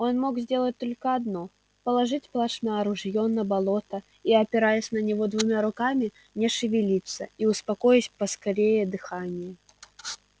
он мог сделать только одно положить плашмя ружьё на болото и опираясь на него двумя руками не шевелиться и успокоить поскорее дыхание